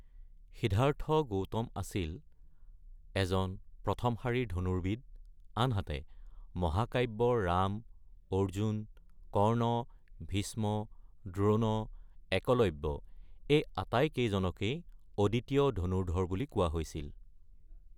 সিদ্ধাৰ্থ গৌতম ধনুখনৰ স'তে বিজয়ী আছিল, আনহাতে মহাকাব্যৰ ৰাম, অৰ্জুন, কৰ্ণ, ভীষ্ম, দ্ৰোণ, একলব্য আটাইকেইজনেই অতুলনীয় ধনুৰ্দ্ধৰ বুলি কোৱা হৈছিল।